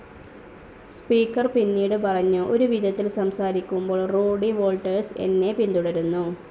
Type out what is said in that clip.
Speaker പിന്നീട് പറഞ്ഞു, ഒരു വിധത്തിൽ സംസാരിക്കുബോൾ റൂഡി വോൾട്ടേഴ്സ് എന്നെ പിന്തുടരുന്നു.